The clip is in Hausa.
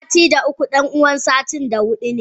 Sitin da uku danuwan sitin da hudu ne.